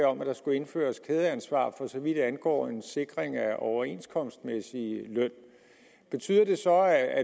om at der skulle indføres kædeansvar for så vidt angår en sikring af overenskomstmæssig løn betyder det så at